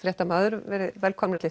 fréttamaður verið velkomnir